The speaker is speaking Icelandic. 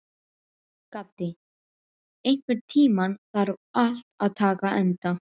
Gaddi, einhvern tímann þarf allt að taka enda.